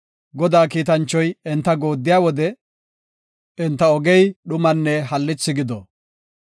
Godaa kiitanchoy enta gooddiya wode, enta ogey dhumanne hallithi gido.